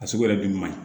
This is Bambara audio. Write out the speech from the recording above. A sugu yɛrɛ bi man ɲi